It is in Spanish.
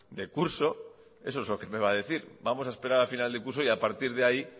de curso eso es lo que me va a decir vamos a esperar a final de curso y a partir de ahí